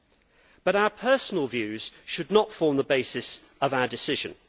However, our personal views should not form the basis of our decision.